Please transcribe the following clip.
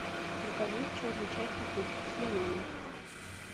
закажи черный чай в пакетиках с лимоном